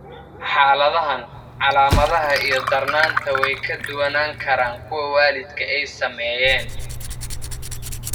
Xaaladahan, calaamadaha iyo darnaanta way ka duwanaan karaan kuwa waalidka ay saameeyeen.